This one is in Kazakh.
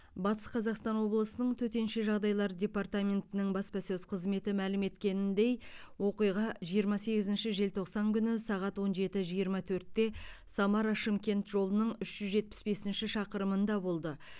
батыс қазақстан облысының төтенше жағдайлар департаментінің баспасөз қызметі мәлім еткеніндей оқиға жиырма сегізінші желтоқсан күні сағат он жеті жиырма төртте самара шымкент жолының үш жүз жетпіс бесінші шақырымында болды